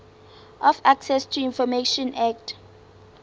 of access to information act